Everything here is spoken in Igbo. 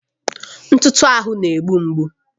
Ntụtụ ahụ na-egbu mgbu